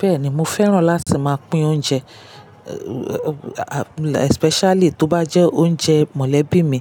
Bẹ́ẹ̀ni, mo fẹ́ràn láti máa pín oúnjẹ, especially tó bá jẹ́ oúnjẹ mọ̀lẹ́bí mi,